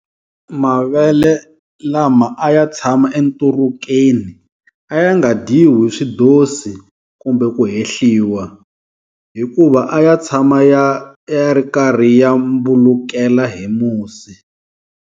Mavele lama a ya tshama enturukeni a ya nga dyiwi hi swidozi kumbe ku hehliwa, hi kuva a ya tshama ya ri karhi ya mbulukela hi musi.